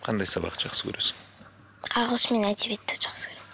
қандай сабақты жақсы көресің ағылшын мен әдебиетті жақсы көремін